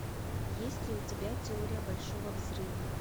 есть ли у тебя теория большого взрыва